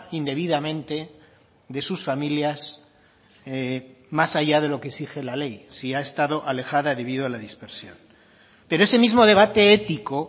indebidamente de sus familias más allá de lo que exige la ley si ha estado alejada debido a la dispersión pero ese mismo debate ético